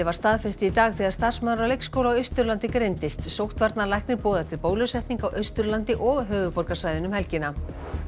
var staðfest í dag þegar starfsmaður á leikskóla á Austurlandi greindist sóttvarnalæknir boðar til bólusetninga á Austurlandi og höfuðborgarsvæðinu um helgina